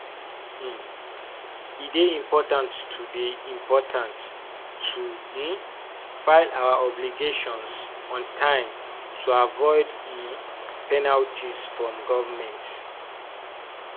um e dey important to dey important to um file our obligations on time to avoid um penalties from government